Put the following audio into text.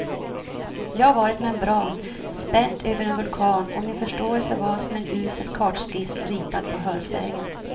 Jag var ett membran spänt över en vulkan och min förståelse var som en usel kartskiss ritad på hörsägen.